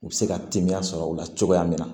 U bɛ se ka temiya sɔrɔ o la cogoya min na